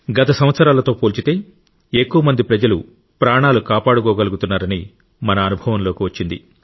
గత సంవత్సరాలతో పోలిస్తే ఎక్కువ మంది ప్రజలు ప్రాణాలు కాపాడుకోగలుగుతున్నారని మన అనుభవంలోకి వచ్చింది